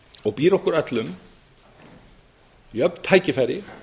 og býr okkur öllum jöfn tækifæri